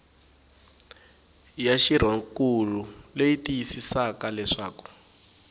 ya xirhonkulu leyi tiyisisaka leswaku